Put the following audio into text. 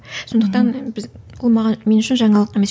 сондықтан біз ол маған мен үшін жаңалық емес